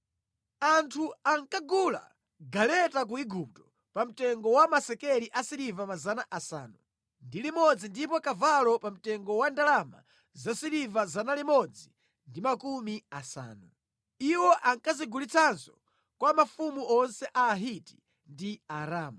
Anthu ankagula galeta ku Igupto pa mtengo wa masekeli asiliva 600 ndipo kavalo pa mtengo wa ndalama zasiliva 150. Iwo ankazigulitsanso kwa mafumu onse a Ahiti ndi a Aramu.